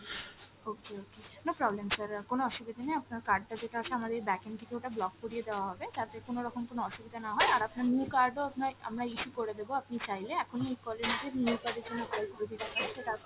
okay okay, no problem sir কোন অসুবিধা নেই আপনার card টা যেটা আছে আমাদের এই backend থেকে ওটা block করিয়ে দেওয়া হবে, তাতে কোনরকম কোনো অসুবিধা না হয়, আর আপনার new card ও আপনার আমরা issue করে দেবো আপনি চাইলে এখনি এই call এর মধ্যে new card এর জন্য apply করে দিতে পারেন সেটা আপনার